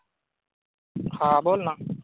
हा बोल ना!